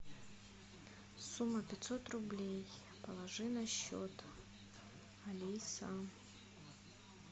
сумма пятьсот рублей положи на счет алиса